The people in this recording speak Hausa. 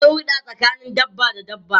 Akwai hurda tsakanin dabba da dabba.